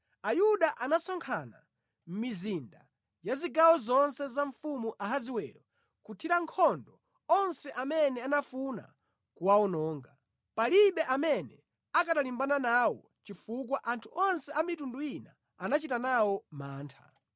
Ayuda anasonkhana mʼmizinda ya zigawo zonse za Mfumu Ahasiwero kuthira nkhondo onse amene anafuna kuwawononga. Palibe amene akanalimbana nawo chifukwa anthu onse a mitundu ina anachita nawo mantha.